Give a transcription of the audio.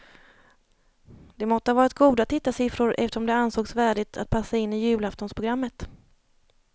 Det måtte ha varit goda tittarsiffror eftersom det ansågs värdigt att passa in i julaftonsprogrammet.